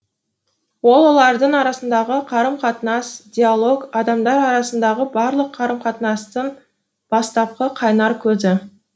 ал олардың арасындағы қарым қатынас диалог адамдар арасындағы барлық қарым қатынастың бастапқы қайнар көзі